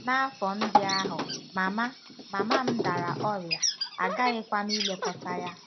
N'afọ ndị ahụ, mama, mama m dara ọrịa, aghaghịkwa m ilekọta ya.